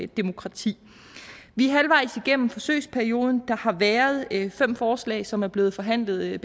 demokrati vi er halvvejs igennem forsøgsperioden og der har været inde fem forslag som er blevet behandlet her i